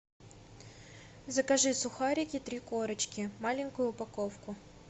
закажи сухарики три корочки маленькую упаковку